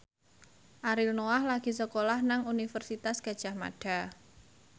Ariel Noah lagi sekolah nang Universitas Gadjah Mada